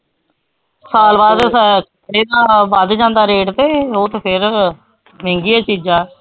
ਸਾਲ ਬਾਅਦ ਫਿਰ ਇਹ ਤਾਂ ਵੱਧ ਜਾਂਦਾ rate ਤੇ ਉਹ ਤੇ ਫਿਰ ਮਹਿੰਗੀ ਹੈ ਚੀਜ਼ਾਂ।